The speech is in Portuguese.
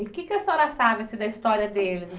E que que a senhora sabe assim da história deles?